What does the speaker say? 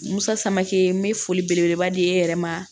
Musake n be foli belebeleba di e yɛrɛ ma